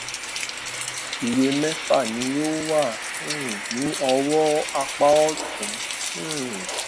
iye mẹfà ni yóò wà um ní ọwọn apá òtún um